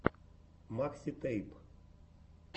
макситэйп